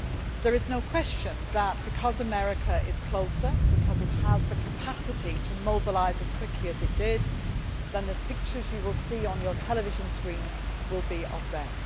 There is no question that, because America is closer, because it has the capacity to mobilise as quickly as it did, then the pictures you will see on your television screens will be of them.